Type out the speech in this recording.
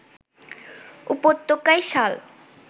উপত্যকায় শাল